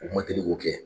U ma deli k'o kɛ